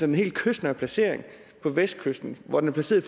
den helt kystnære placering på vestkysten hvor de er placeret